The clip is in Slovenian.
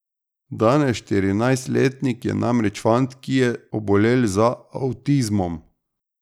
Danes štirinajstletnik je namreč fant, ki je obolel za avtizmom.